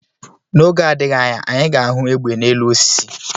N'oge adịghị anya anyị ga ahụ egbe na-elu osisi